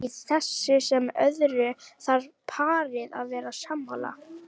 Í þessu sem öðru þarf parið að vera sammála.